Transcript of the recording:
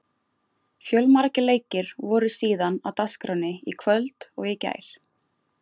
Fjölmargir leikir voru síðan á dagskránni í kvöld og í gær.